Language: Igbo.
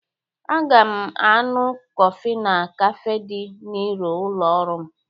Aga m aṅụ kọfị na kafe dị n'iru ụlọ ọrụ m.